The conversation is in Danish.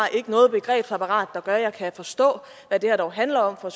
noget begrebsapparat der gør at hun kan forstå hvad det her dog handler om fra